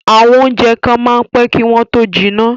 àwọn oúnjẹ kan máa ń pẹ́ kí wọ́n tó jiná